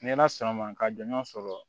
Ni ala sɔnna ma ka jɔnjɔn sɔrɔ